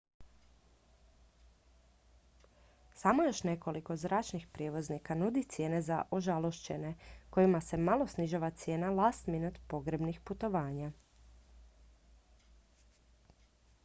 samo još nekoliko zračnih prijevoznika nudi cijene za ožalošćene kojima se malo snižava cijena last-minute pogrebnih putovanja